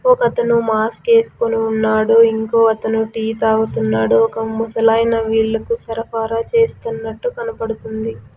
ఒక అతను మాస్క్ వేసుకుని ఉన్నాడు ఇంకో అతను టీ తాగుతున్నాడు ఒక ముసలైన వీళ్లకు సరఫరా చేస్తున్నట్టు కనపడుతుంది.